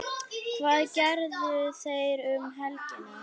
Hvað gerðu þeir um helgina?